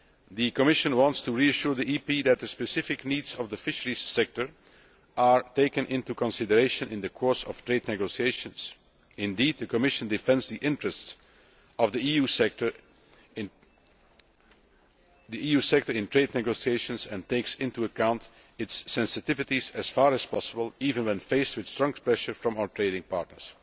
The Commission wants to reassure the EP that the specific needs of the fisheries sector are taken into consideration in the course of trade negotiations. Indeed, the Commission defends the interests of the EU sector in trade negotiations and takes into account its sensitivities as far as possible, even when faced with strong pressure from our trading partners.